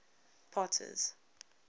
potter's